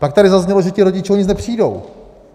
Pak tady zaznělo, že ti rodiče o nic nepřijdou.